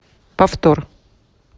повтор